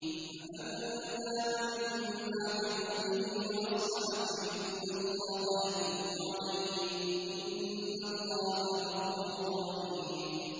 فَمَن تَابَ مِن بَعْدِ ظُلْمِهِ وَأَصْلَحَ فَإِنَّ اللَّهَ يَتُوبُ عَلَيْهِ ۗ إِنَّ اللَّهَ غَفُورٌ رَّحِيمٌ